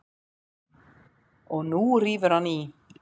Og nú rífur hann í.